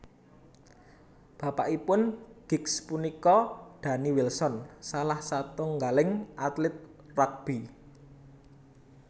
Bapakipun Giggs punika Danny Wilson salah satunggaling atlet rugby